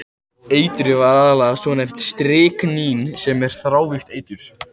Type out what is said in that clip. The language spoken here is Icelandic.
Eitrið var aðallega svonefnt stryknín sem er þrávirkt eitur.